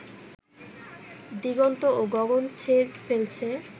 দিগন্ত ও গগন ছেয়ে ফেলছে